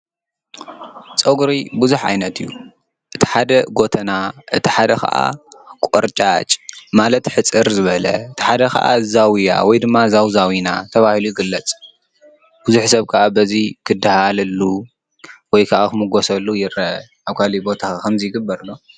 ፀጉሪ ብዙሕ ዓይነት እዩ፣ እቲ ሓደ ጉተና እቲ ሓደ ከዓ ቆርጫጭ ማለት ሕፅር ዝበለ፣ እቲ ሓደ ከዓ ዛውያ ወይ ድማ ዛውዛዊና ተባሂሉ ይግለፅ፡፡ ብዙሕ በሰብ ከዓ ክደሃለሉ ወይ ከዓ ክምጎሰሉ ይረአ፡፡ ኣብ ካልእ ቦታ ከ ከምዚ ይግበር ዶ?